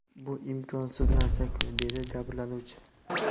Bu imkonsiz narsa-ku?” dedi jabrlanuvchi.